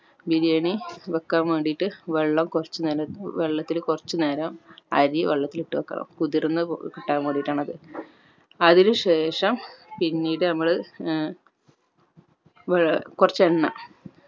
ബിരിയാണി വെക്കാൻ വേണ്ടിട്ട് വെള്ളം കൊർച്ച് നേരം വെള്ളത്തിൽ കൊർച്ച് നെരം അരി വെള്ളത്തിൽ ഇട്ട് വെക്കണം കുതിർന്ന് ഏർ കിട്ടാൻ വേണ്ടിട്ട് ആണ് അത് അതിനു ശേഷം പിന്നീട് നമ്മൾ ഏർ ഏർ കൊർച്ച് എണ്ണ